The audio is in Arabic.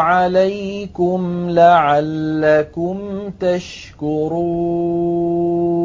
عَلَيْكُمْ لَعَلَّكُمْ تَشْكُرُونَ